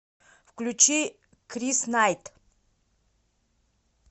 включи крис найт